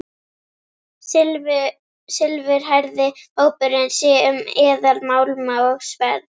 Silfurhærði hópurinn sér um eðalmálma og sverð.